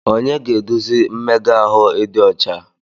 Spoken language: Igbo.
Onye ga-eduzi mmega ahụ ịdị ọcha?